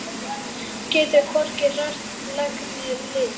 Getur hvorki hrært legg né lið.